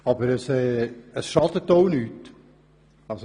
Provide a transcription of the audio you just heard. er würde aber auch nicht schaden.